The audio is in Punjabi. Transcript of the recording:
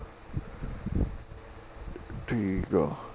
ਠੀਕ ਆ